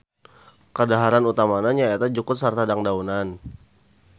Kadaharan utamana nyaeta jukut sarta dangdaunan.